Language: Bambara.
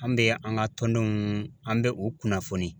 An bɛ an ka tɔndenw an bɛ u kunnafoni.